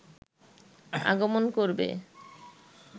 আগমন করবে